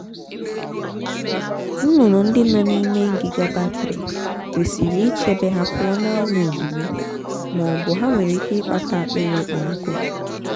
nnụnụ ndị nọ n'ime ngịga batrị kwesiri ichebe ha pụọ n'anyanwụ ozugbo ma ọ bụ ha nwere ike ịkpata akpịrị ịkpọ nkụ.